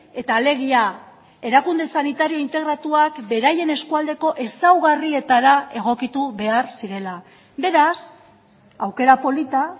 eta alegia erakunde sanitario integratuak beraien eskualdeko ezaugarrietara egokitu behar zirela beraz aukera polita